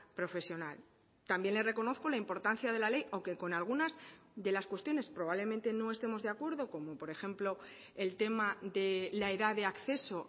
profesional también le reconozco la importancia de la ley aunque con algunas de las cuestiones probablemente no estemos de acuerdo como por ejemplo el tema de la edad de acceso